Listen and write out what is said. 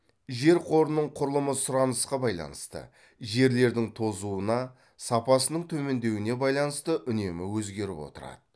жер қорының құрылымы сұранысқа байланысты жерлердің тозуына сапасының төмендеуіне байланысты үнемі өзгеріп отырады